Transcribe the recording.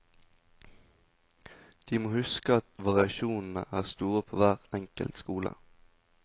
De må huske at variasjonene er store på hver enkelt skole.